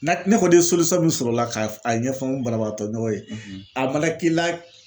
Na ne kɔni ye min sɔrɔ o la k'a a ɲɛfɔ n banabagatɔ ɲɔgɔn ye a mana k'i la